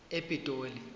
epitoli